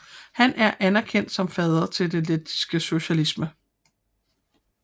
Han er anerkendt som fader til lettisk socialisme